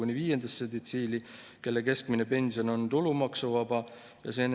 Neil juba selle aasta algusest tõusis pension ja tulevikus nii-öelda keskmine pension jääb maksuvabaks, et nemad ei peaks muretsema.